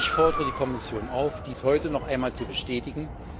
Ich fordere die Kommission auf, dies heute noch einmal zu bestätigen.